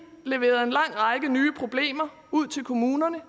leveret en lang række nye problemer ud til kommunerne og